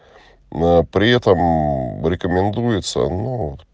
аа при этом рекомендуется ну